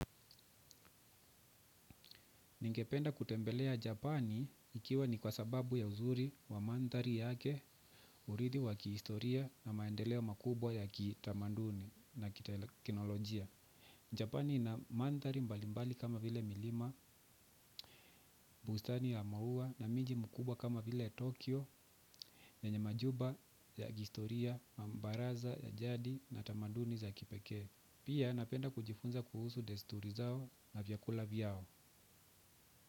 Ningependa kutembelea Japani ikiwa ni kwa sababu ya uzuri wa mandhari yake, urithi wa kihistoria na maendeleo makubwa ya kitamanduni na kiteknolojia. Japani ina mandhari mbalimbali kama vile milima, bustani ya maua na miji mkubwa kama vile Tokyo yenye majumba ya kihistoria, na mbaraza ya jadi na tamanduni za kipekee. Pia napenda kujifunza kuhusu desturi zao na vyakula vyao.